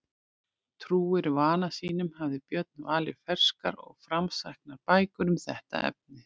Trúr vana sínum hafði Björn valið ferskar og framsæknar bækur um þetta efni.